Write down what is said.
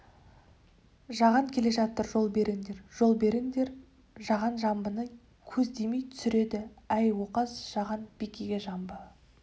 жаған келе жатыр жол беріңдер жол беріңдер жаған жамбыны көздемей түсіреді әй оқас жаған бикеге жамбы